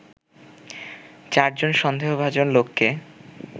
চারজন সন্দেহভাজন লোককে